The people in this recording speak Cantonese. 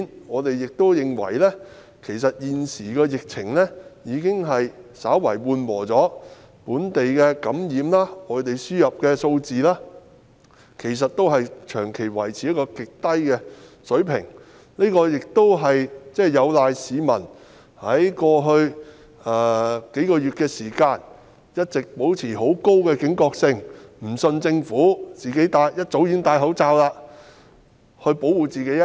我們亦認為現時疫情已稍為緩和，本地感染個案及外地輸入個案的數字均長期維持於極低水平，這是有賴於市民在過去數月間一直保持高警覺性，不相信政府，一早戴上口罩保護自己。